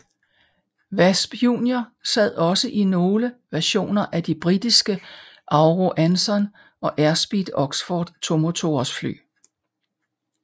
Wasp Junior sad også i nogle versioner af de britiske Avro Anson og Airspeed Oxford tomotors fly